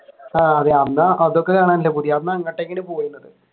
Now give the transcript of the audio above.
ആഹ് അന്ന് അതൊക്കെ കാണാനല്ലേ പൂതി